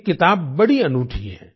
ये किताब बड़ी अनूठी है